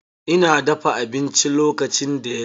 Ina dafa abinci lokacin da ya zo.